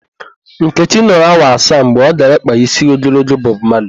Nkechi nọrọ awa asaa mgbe ọ gara ịkpa ísí ogologo Bọb Mali.